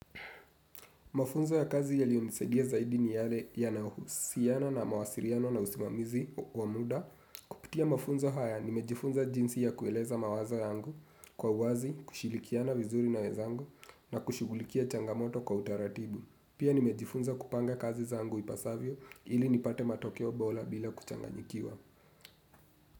Mafunzo ya kazi yalionisadia zaidi ni yale yanayohusiana na mawasiriano na usimamizi wa muda. Kupitia mafunzo haya nimejifunza jinsi ya kueleza mawazo yangu kwa uwazi, kushilikiana vizuri na wezangu na kushugulikia changamoto kwa utaratibu. Pia nimejifunza kupanga kazi zangu ipasavyo ili nipate matokeo bola bila kuchanganyikiwa.